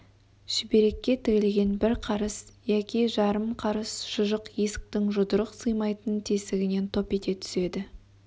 шүберекке тігілген бір қарыс яки жарым қарыс шұжық есіктің жұдырық сыймайтын тесігінен топ ете түседі